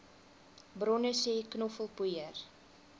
bronne sê knoffelpoeier